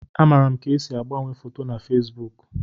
Amaara m ka esi agbanwe foto na Fesbuk